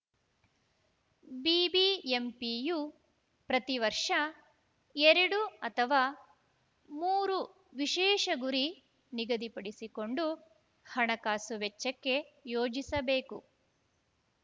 ಬಿಬಿಎಂಪಿಯು ಪ್ರತಿ ವರ್ಷ ಎರಡು ಅಥವಾ ಮೂರು ವಿಶೇಷ ಗುರಿ ನಿಗದಿಪಡಿಸಿಕೊಂಡು ಹಣಕಾಸು ವೆಚ್ಚಕ್ಕೆ ಯೋಜಿಸಬೇಕು